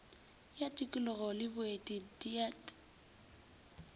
ya tikolog le boeti deat